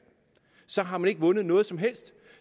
så har man ikke vundet noget som helst